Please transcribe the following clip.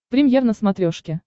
премьер на смотрешке